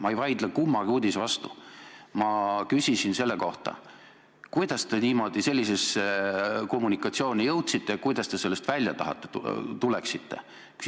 Ma ei vaidle kummagi uudise vastu, ma küsisin selle kohta, kuidas te sellisesse kommunikatsiooni jõudsite ja kuidas te sellest välja tuleksite.